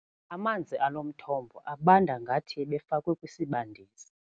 Amanzi alo mthombo abanda ngathi ebefakwe kwisibandisi.